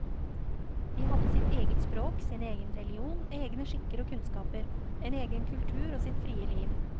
De hadde sitt eget språk, sin egen religion, egne skikker og kunnskaper, en egen kultur og sitt frie liv.